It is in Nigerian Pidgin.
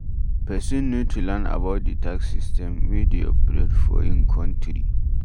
Person need to learn about di tax system wey dey operate for im country